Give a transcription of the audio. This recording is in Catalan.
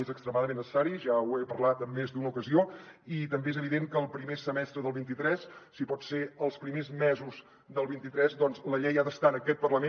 és extremadament necessari ja ho he parlat en més d’una ocasió i també és evident que el primer semestre del vint tres si pot ser els primers mesos del vint tres doncs la llei ha d’estar en aquest parlament